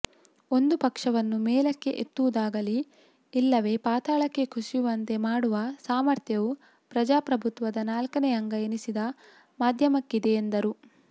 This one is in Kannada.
ಒಂದು ಪಕ್ಷವನ್ನು ಮೇಲಕ್ಕೆ ಎತ್ತುವುದಾಗಲಿ ಇಲ್ಲವೇ ಪಾತಾಳಕ್ಕೆ ಕುಸಿಯುವಂತೆ ಮಾಡುವ ಸಾಮಥ್ರ್ಯವು ಪ್ರಜಾಪ್ರಭುತ್ವದ ನಾಲ್ಕನೇ ಅಂಗ ಎನಿಸಿದ ಮಾಧ್ಯಮಕ್ಕಿದೆ ಎಂದರು